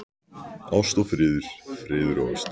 Ást og friður, friður og ást.